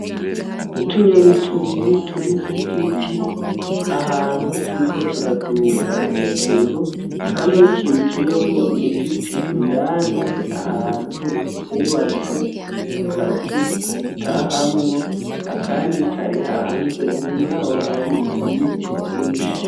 Utunyoni tubiri turi ku giti ahantu turiko turaduga hejuru, kamwe kinjiyemwo my giti indani ahantu kubatse akazu gatahamwo, akandi kari hanze. Inyuma y'aho hari ibiti vyinshi.